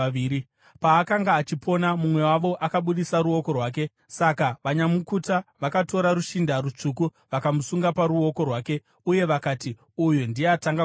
Paakanga achipona, mumwe wavo akabudisa ruoko rwake; saka vanyamukuta vakatora rushinda rutsvuku vakamusunga paruoko rwake uye vakati, “Uyu ndiye atanga kubuda.”